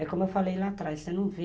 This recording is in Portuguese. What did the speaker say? É como eu falei lá atrás, você não vê...